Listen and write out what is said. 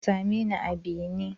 Ka same ni a bene!